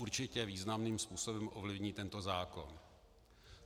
Určitě významným způsobem ovlivní tento zákon.